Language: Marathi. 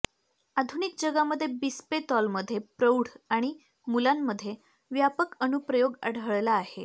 आधुनिक जगामध्ये बिस्पेतॉलमध्ये प्रौढ आणि मुलांमध्ये व्यापक अनुप्रयोग आढळला आहे